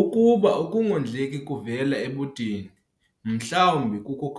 Ukuba ukungondleki kuvela ebudeni mhlawumbi